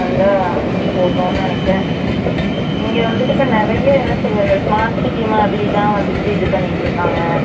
வந்தா போதும் நினைக்குறேன் Silent இங்க வந்துட்டு இப்ப நெறைய என்ன சொல்றது smart city மாதிரிதான் வந்துட்டு இது பண்ணிட்டு இருகாங்க